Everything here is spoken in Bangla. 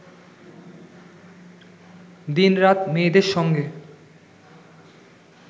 দিনরাত মেয়েদের সঙ্গে